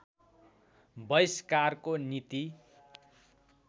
बहिस्कारको नीति